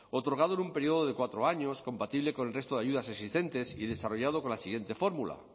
otorgado en un periodo de cuatro años compatible con el resto de ayudas existentes y desarrollado con la siguiente fórmula